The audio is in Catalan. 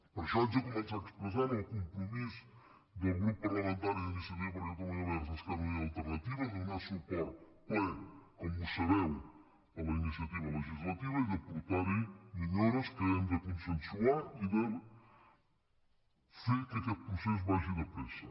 per això haig de començar expressant el compro·mís del grup parlamentari d’iniciativa per catalunya verds · esquerra unida i alternativa a donar suport ple com sabeu a la iniciativa legislativa i a portar·hi millores que hem de consensuar i a fer que aquest procés vagi de pressa